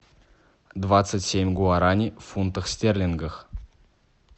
двадцать семь гуараней в фунтах стерлингов